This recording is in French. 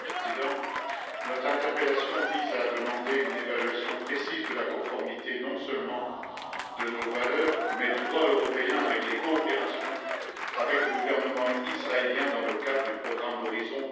Monsieur le Président, notre interpellation vise à demander une évaluation précise de la conformité non seulement à nos valeurs, mais aussi au droit européen des coopérations avec le gouvernement israélien dans le cadre du programme Horizon